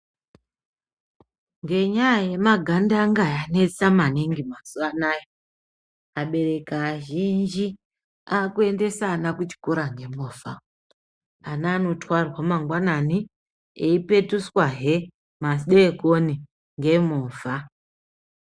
Ngenyaya yemagandanga anesa mazuwa anaa, abereki akuendeswa kuchikora ngemovha. Ana anotwarwa mangwanani opetudzwazve madekoni ngemovha.